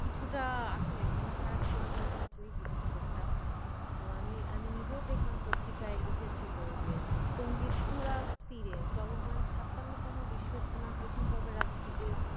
কিছুটা আসলে মন খারাপ করে দেওয়ার মতোই খবরটা। আমি আমি নিজেও দেখলাম পত্রিকায় লিখেছিলো যে, টঙ্গীর টুরা তীরে চলমান ছাপ্পানোতম বিশ্বইস্তেমার প্রথম পর্বে আর দ্বিতীয়